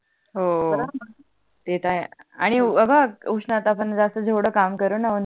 ते तर आहे आणि अग उष्णतात आपण जास्त जेवड काम करून आपण